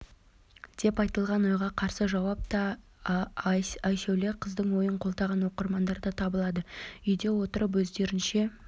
деп айтылған ойға қарсы жауап тауып айсәуле қыздың ойын қолдаған оқырмандар да табылды үйде отырып өздерінше